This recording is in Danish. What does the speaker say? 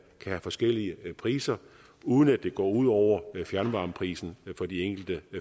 have forskellige priser uden at det går ud over fjernvarmeprisen for de enkelte